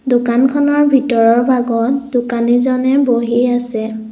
দোকানখনৰ ভিতৰৰ ভাগত দোকানি জনে বহি আছে।